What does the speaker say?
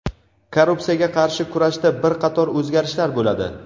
Korrupsiyaga qarshi kurashda bir qator o‘zgarishlar bo‘ladi.